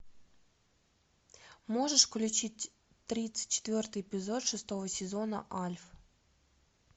можешь включить тридцать четвертый эпизод шестого сезона альф